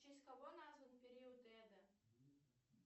в честь кого назван период эда